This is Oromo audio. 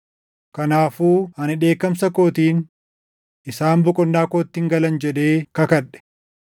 Kanaafuu ani dheekkamsa kootiin, ‘Isaan boqonnaa kootti hin galan’ jedhee kakadhe.” + 3:11 \+xt Far 95:7‑11\+xt*